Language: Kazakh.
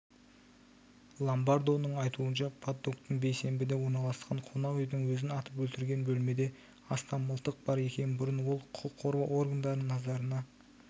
ломбардоның айтуынша паддоктың бейсенбіде орналасқан қонақ үйдің өзін атып өлтірген бөлмеде астам мылтық бар екен бұрын ол құқық қорғау органдарының назарына